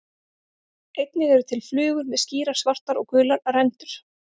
Einnig eru til flugur með skýrar svartar og gular rendur.